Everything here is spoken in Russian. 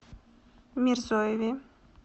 мирзоеве